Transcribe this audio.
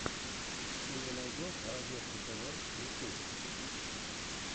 ты мне найдешь разеткатв ютуб